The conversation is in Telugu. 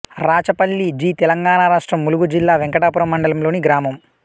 రాచపల్లి జి తెలంగాణ రాష్ట్రం ములుగు జిల్లా వెంకటాపురం మండలంలోని గ్రామం